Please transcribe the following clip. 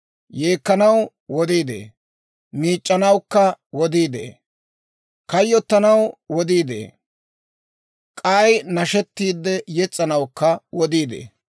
Yeekkanaw wodii de'ee; miic'c'anawukka wodii de'ee. Kayyottanaw wodii de'ee; k'ay nashettiide yes's'anawukka wodii de'ee.